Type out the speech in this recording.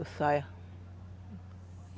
Eu saia.